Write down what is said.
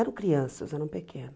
Eram crianças, eram pequenas.